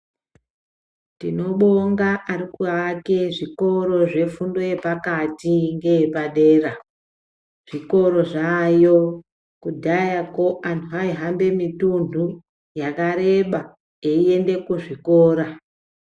Tinobonga ari kuake zvikoro zvefundo yepakati ngee padera. Zvikoro zvaayo, kudhayako antu aihambe mituntu yakareba eiyende kuzvikoraa.